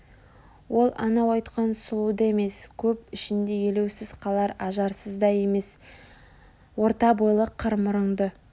ол анау айтқан сұлу да емес көп ішінде елеусіз қалар ажарсыз да емес орта бойлы қыр мұрынды